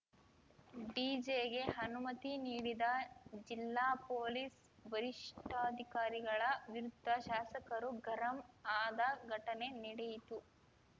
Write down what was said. ಡಿಜೆಗೆ ಅನುಮತಿ ನೀಡಿದ ಜಿಲ್ಲಾ ಪೊಲೀಸ್‌ ವರಿಷ್ಠಾಧಿಕಾರಿಗಳ ವಿರುದ್ಧ ಶಾಸಕರು ಗರಂ ಆದ ಘಟನೆ ನೆಡೆಯಿತು